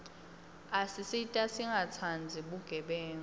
asisita singatsandzi bugebengu